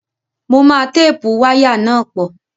Mo máa téèpù wáyà náà pọ̀